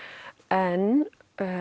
en